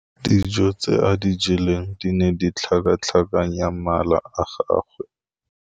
Dijô tse a di jeleng di ne di tlhakatlhakanya mala a gagwe.